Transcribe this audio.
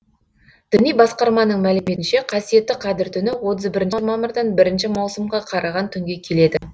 діни басқарманың мәліметінше қасиетті қадір түні отыз бірінші мамырдан бірінші маусымға қараған түнге келеді